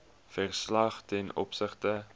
verslag ten opsigte